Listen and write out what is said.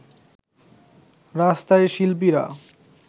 রাস্তায় শিল্পীরা